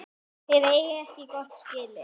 Þeir eigi ekkert gott skilið.